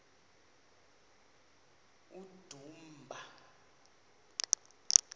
udumba